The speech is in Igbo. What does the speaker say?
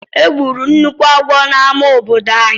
Egburu nnukwu agwọ n'amá obodo ànyị.